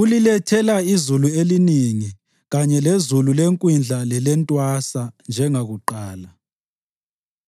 Ulilethela izulu elinengi kanye lezulu lekwindla lelentwasa, njengakuqala.